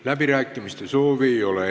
Läbirääkimiste soovi ei ole.